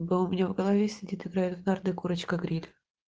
голубь у меня в голове сидят играет в нарды курочка гриль